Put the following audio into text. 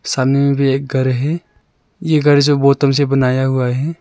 सामने में भी एक घर है ये घर जो बोतल से बनाया हुआ है।